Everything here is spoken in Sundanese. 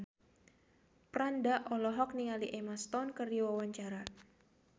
Franda olohok ningali Emma Stone keur diwawancara